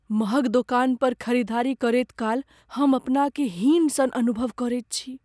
महग दोकान पर खरीदारी करैत काल हम अपनाकेँ हीन सन अनुभव करैत छी।